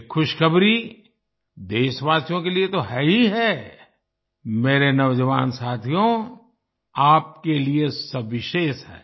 ये खुशखबरी देशवासियों के लिए तो है ही है मेरे नौजवान साथियो आपके लिए विशेष है